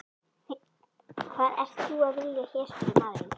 Hvað ert þú að vilja hér? spurði maðurinn.